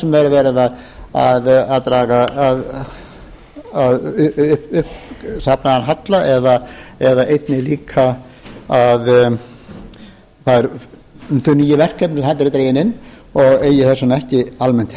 hvort sem það er verið að draga uppsafnaðan halla eða einnig líka þau nýju verkefni sem bera eru dregin inn og eigi þess vegna ekki almennt